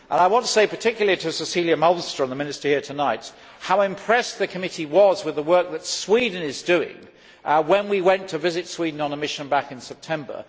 I want to say particularly to Cecilia Malmström, the Minister here tonight, how impressed the committee was with the work that Sweden was doing when we went to visit Sweden on a mission back in September.